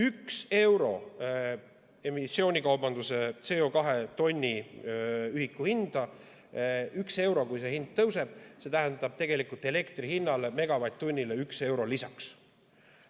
Kui emissioonikaubanduse CO2 tonni ühiku hind ühe euro võrra tõuseb, siis see tähendab elektri megavatt-tunni hinnale ühte eurot lisaks.